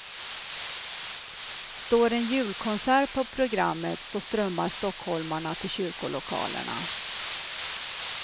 Står en julkonsert på programmet, så strömmar stockholmarna till kyrkolokalerna.